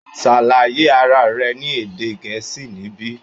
Ṣàlàyé ara rẹ ní èdè gẹ̀ẹ́sì níbí!